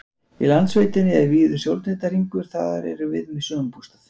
Í Landsveitinni er víður sjóndeildarhringur, þar erum við með sumarbústað.